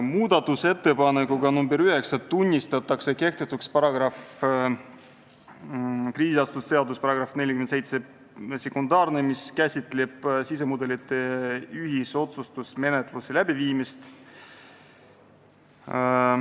Muudatusettepanekuga nr 9 tunnistatakse kehtetuks krediidiasutuste seaduse § 472, mis käsitleb sisemudelite ühisotsustusmenetluse läbiviimist.